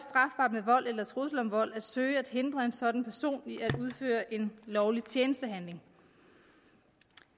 med vold eller trusler om vold at søge at hindre en sådan person i at udføre en lovlig tjenestehandling